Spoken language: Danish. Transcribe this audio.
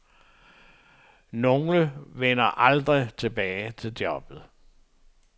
Nogle vender aldrig tilbage til jobbet.